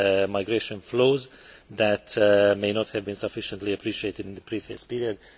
migration flows that may not have been sufficiently appreciated in the previous period.